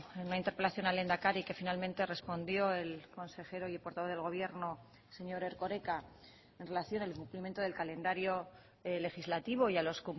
en una interpelación al lehendakari que finalmente respondió el consejero y portavoz del gobierno señor erkoreka en relación al cumplimiento del calendario legislativo y a los